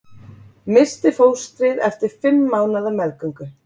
Missti fóstrið eftir fimm mánaða meðgöngu